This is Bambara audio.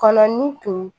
Kɔnɔ ni to